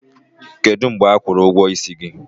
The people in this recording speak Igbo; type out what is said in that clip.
Kedu mgbe ha kwụrụ ụgwọ ịsị ya?